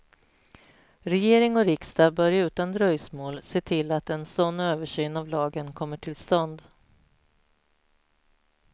Regering och riksdag bör utan dröjsmål se till att en sådan översyn av lagen kommer till stånd.